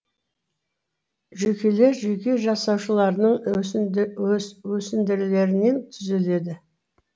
жүйкелер жүйке жасушаларының өсінділерінен түзіледі